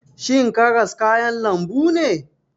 Shin karas kayan lambu ne?